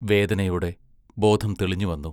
വേദനയോടെ ബോധം തെളിഞ്ഞുവന്നു.